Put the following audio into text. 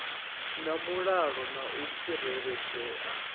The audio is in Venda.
na mulalo na u tsireledzea